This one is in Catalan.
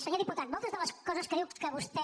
senyor diputat moltes de les coses que diu que vostè